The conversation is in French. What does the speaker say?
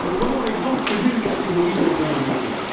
Ne prenons l'exemple que d'une catégorie d'engins à moteur.